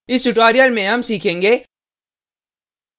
इस tutorial में हम सीखेंगे